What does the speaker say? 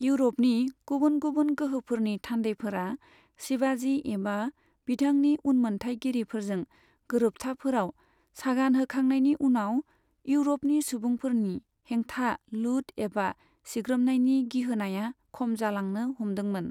इउरपनि गुबुन गुबुन गोहोफोरनि थान्दैफोरा शिवाजी एबा बिथांनि उनमोन्थायगिरिफोरजों गोरोबथाफोराव सागान होखांनायनि उनाव, इउरपनि सुबुंफोरनि हेंथा लुट एबा सिग्रोमनायनि गिहोनाया खम जालांनो हमदोंमोन।